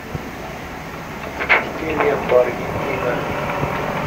запусти ленту аргентина